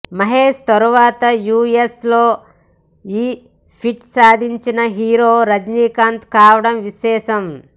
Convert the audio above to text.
మహేష్ తరువాత యూఎస్ లో ఈ ఫీట్ సాధించిన హీరో రజినీకాంత్ కావడం విశేషం